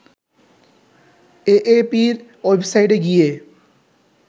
এএপির ওয়েবসাইটে গিয়ে